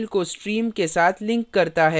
फिर यह file को stream के साथ links करता है